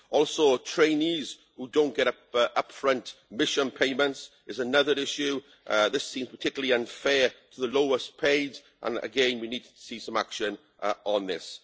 Also trainees who don't get up but up front mission payments is another issue. This seems particularly unfair to the lowest paid, and again, we need to see some action on this.